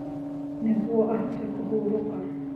Nĩguo ahote kũhurũka.